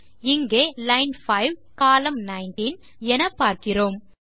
இங்கே line 5 column 19 லான்5 கோல்19 எனப்பார்க்கிறோம்